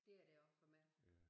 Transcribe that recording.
Det er det også for mig